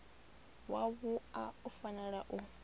wa wua u fanela u